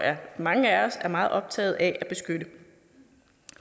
mange af os er meget optaget af at beskytte